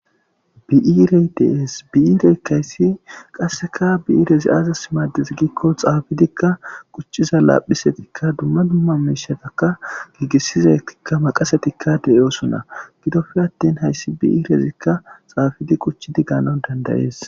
Biirey dees bi'iirey kayssi qasseka biiirezi aazas maades giikko xaabidikka quchciza laaphisetikka dumma dumma miishetakka giigisizekka maqasetikka deyoosona gidofe attin hayssi bi7iirezikka xaabidi quchchi di ganon dandayees.